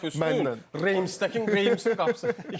İki dəfə üstün Reymsdəki Reymsin qapısı.